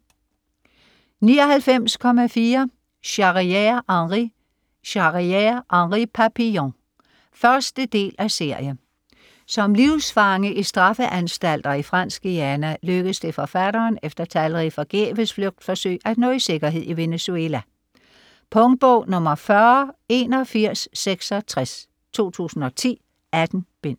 99.4 Charrière, Henri Charrière, Henri: Papillon 1. del af serie. Som livsfange i straffeanstalter i Fransk Guyana lykkes det forfatteren, efter talrige forgæves flugtforsøg, at nå i sikkerhed i Venezuela. Punktbog 408166 2010. 18 bind.